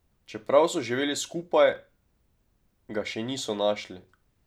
Čeprav so živeli skupaj, ga še niso našli.